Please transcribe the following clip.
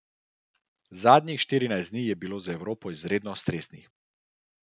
Zadnjih štirinajst dni je bilo za Evropo izredno stresnih.